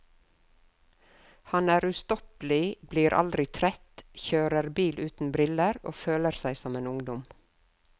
Han er ustoppelig, blir aldri trett, kjører bil uten briller og føler seg som en ungdom.